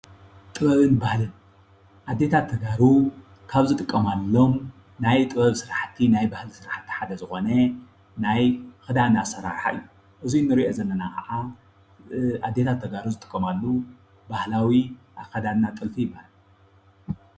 ጥበብን ባህልን ኣዴታት ተጋሩ ካብ ዝጥቀማሎም ናይ ጥበብ ስራሕቲ ናይ ባህሊ ስራሕቲ ሓደ ዝኾነ ናይ ክዳን ኣሰራርሓ እዪ ።እዚ ንሪኦ ዘለና ከዓ ኣዴታት ተጋሩ ዝጥቀማሉ ባህላዊ ኣከዳድና ጥልፊ ይበሃል ።